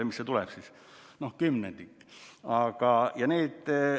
Mis see siis kokku tuleb – kümnendik.